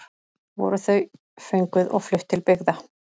Voru þau fönguð og flutt til byggða.